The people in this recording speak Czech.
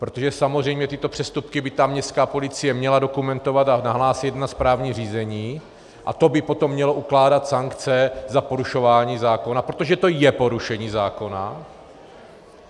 Protože samozřejmě tyto přestupky by ta městská policie měla dokumentovat a nahlásit na správní řízení a to by potom mělo ukládat sankce za porušování zákona, protože to je porušení zákona.